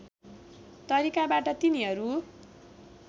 तरिकाबाट तिनीहरू